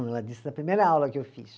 Ela disse na primeira aula que eu fiz.